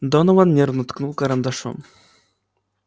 донован нервно ткнул карандашом